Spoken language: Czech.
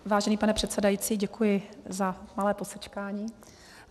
Vážený pane předsedající, děkuji za malé posečkání.